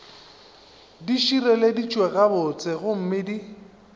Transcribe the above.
di šireleditšwe gabotse gomme di